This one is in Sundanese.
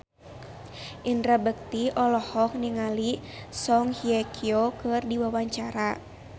Indra Bekti olohok ningali Song Hye Kyo keur diwawancara